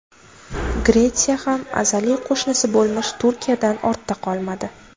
Gretsiya ham azaliy qo‘shnisi bo‘lmish Turkiyadan ortda qolmadi.